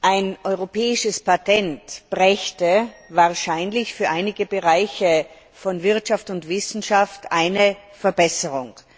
Ein europäisches Patent brächte wahrscheinlich für einige Bereiche von Wirtschaft und Wissenschaft eine Verbesserung.